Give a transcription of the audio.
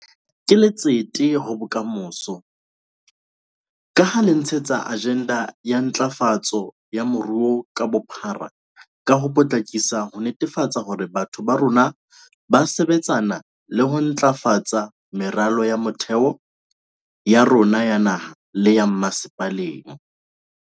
Ke letsete ho bokamoso, ka ha le tshehetsa ajenda ya ntlafatso ya moruo ka bophara ka ho potlakisa ho netefatsa hore batho ba rona ba sebetsana le ho ntlafatsa meralo ya motheo ya rona ya naha le ya dimmasepaleng.